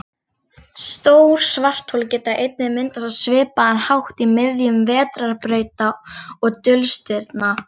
Stór svarthol geta einnig myndast á svipaðan hátt í miðjum vetrarbrauta og dulstirna.